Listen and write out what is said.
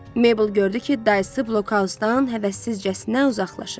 Mabel gördü ki, dayısı blokhausdan həvəssizcəsinə uzaqlaşır.